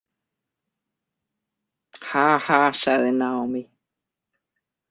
Haha, sagði Naomi.